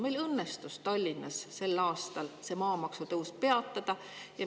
Meil õnnestus Tallinnas sel aastal maamaksu tõus peatada.